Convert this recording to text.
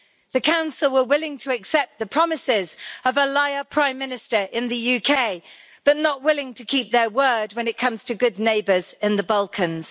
The Council were willing to accept the promises of a liar Prime Minister in the UK but not willing to keep their word when it comes to good neighbours in the Balkans.